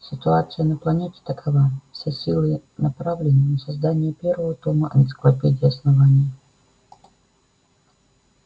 ситуация на планете такова все силы направлены на создание первого тома энциклопедии основания